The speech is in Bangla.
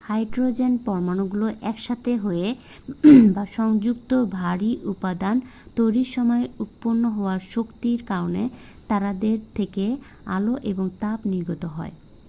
হাইড্রোজেন পরমাণুগুলো একসাথে হয়ে বা সংযুক্ত ভারী উপাদান তৈরির সময় উৎপন্ন হওয়া শক্তির কারণে তারাদের থেকে আলো এবং তাপ নির্গত হয়।